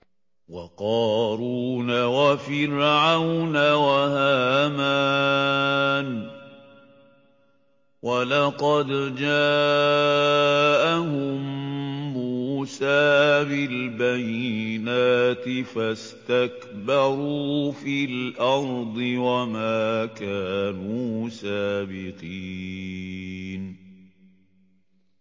وَقَارُونَ وَفِرْعَوْنَ وَهَامَانَ ۖ وَلَقَدْ جَاءَهُم مُّوسَىٰ بِالْبَيِّنَاتِ فَاسْتَكْبَرُوا فِي الْأَرْضِ وَمَا كَانُوا سَابِقِينَ